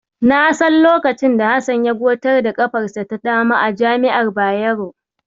Na san lokacin da Hassan ya gotar da ƙafarsa ta dama a jami'ar Bayero.